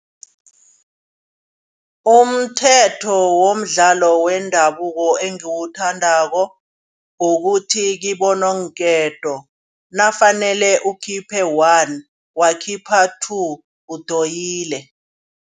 Umthetho womdlalo wendabuko engiwuthandako. Kukuthi kibononketo nakufanele ukhiphe one wakukhipha two udoyile.